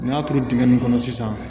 N'a turu dingɛ nin kɔnɔ sisan